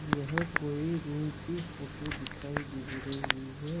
यह कोई रूम की फोटो दिखाई दे रही है।